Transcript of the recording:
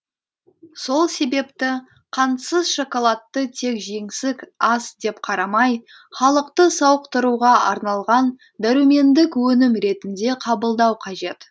сол себепті қантсыз шоколадты тек жеңсік ас деп қарамай халықты сауықтыруға арналған дәрумендік өнім ретінде қабылдау қажет